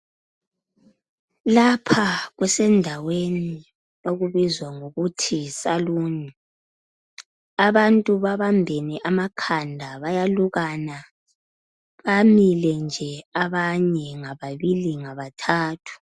Lapha kusendaweni okubizwa ngokuthi yi saloon. Abantu babambene amakhanda bayalukana, bamile nje abanye ngababili bathathu.